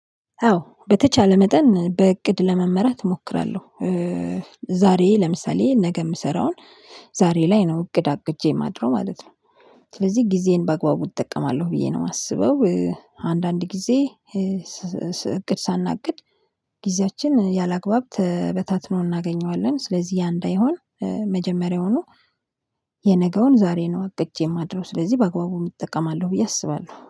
አዎ በተቻለ መጠን በእቅድ ለመመራት እሞክራለሁ። ዛሬ ለምሳሌ ነገ የምሰራውን ዛሬ ላይ ነው እቅድ አቅጄ የማድረው ማለት ነው። ስለዚህ ጊዜዬን በአግባቡ እጠቀማለሁ ብዬ ነው የማስበው። አንዳንድ ጊዜ እቅድ ሳናቅድ ጊዜያችን ያላግባብ ተበታትኖ እናገኘዋለን። ስለዚህ ያ እንዳይሆን መጀመሪያውኑ የነገውን ዛሬ ነው አቅጄ የማድረው። ስለዚህ በአግባቡ እጠቀማለሁ ብዬ አስባለሁ።